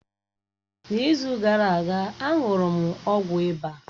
N’izu gara aga, a ṅụrụ m ọgwụ ịba